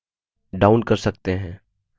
या across line